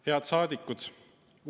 Head saadikud!